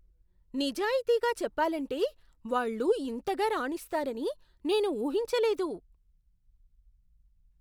నిజాయితీగా చెప్పాలంటే వాళ్ళు ఇంతగా రాణిస్తారని నేను ఊహించలేదు.